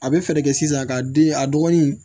A bɛ fɛɛrɛ kɛ sisan ka den a dɔgɔnin